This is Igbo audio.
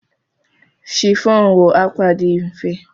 Chiffon bụ akwa dị mfe.